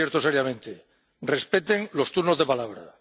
les advierto seriamente respeten los turnos de palabra.